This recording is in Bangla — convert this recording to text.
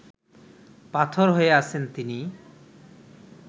পাথর হয়ে আছেন তিনি